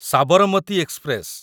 Sabarmati express